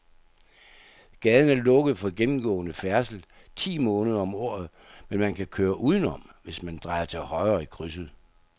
Gaden er lukket for gennemgående færdsel ti måneder om året, men man kan køre udenom, hvis man drejer til højre i krydset.